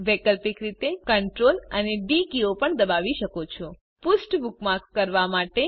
વૈકલ્પિક રીતે તમે CTRL અને ડી કીઓ પણ દબાવી શકો છો પૃષ્ઠ બુકમાર્ક કરવા માટે